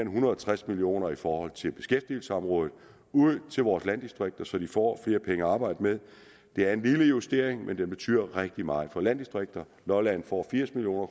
hundrede og tres million kroner i forhold til beskæftigelsesområdet ud til vores landdistrikter så de får flere penge at arbejde med det er en lille justering men den betyder rigtig meget for landdistrikterne lolland får firs million